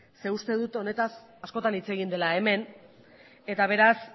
zeren uste dut honetaz askotan hitz egin dela hemen eta beraz